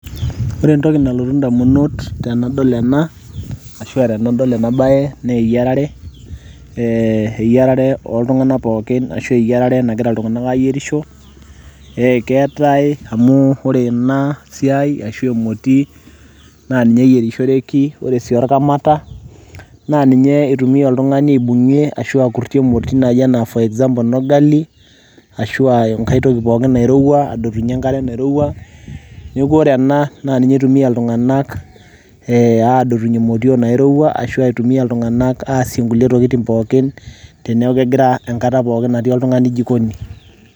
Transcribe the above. ore entoki nalotu indamunot tenadol ena ashua tenadol ena baye naa eyiarare eh, eyiarare oltung'anak pookin ashu eyiarare nagira iltung'anak ayierisho ekeetae amu ore ena siai ashu emoti naa ninye eyierishoreki ore sii orkamata naa ninye eitumia oltung'ani aibung'ie ashu akurrtie emoti naaji anaa for example enorgali ashua enkae toki pooki nairowua adotunyie enkare nairowua neeku ore ena naa ninye itumia iltung'anak eh, adotunyie imotiok nairowua ashua itumia iltung'anak aasie nkulie tokitin pookin teneku kegira, enkata pooki natii oltung'ani jikoni.